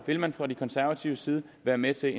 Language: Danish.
vil man fra de konservatives side være med til